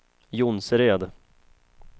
Jonsered